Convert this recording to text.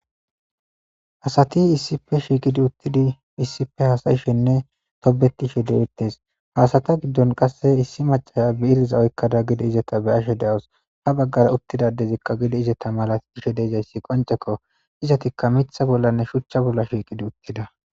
asati issipe shiiqidi uttidi issipe hasayishenne tobetishe dewuttes faasata giddon qasse issi macasha be iriza oykkada gidi izata be ashe deos ha baggara uttidadezikka gidi izata malat ishe deezayssi qoncekko izatikka mitha bollanne shuchcha bolla shiiqidi uttida